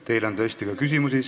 Teile on tõesti ka küsimusi.